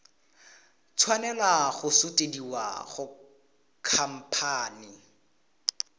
tshwanela go sutisediwa go khamphane